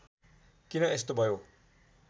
किन यस्तो भयो